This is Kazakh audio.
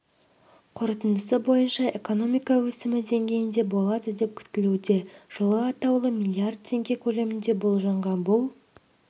қорытындысы бойынша экономика өсімі деңгейінде болады деп күтілуде жылы атаулы миллиард теңге көлемінде болжанған бұл